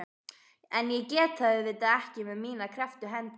En ég get það auðvitað ekki með mínar krepptu hendur.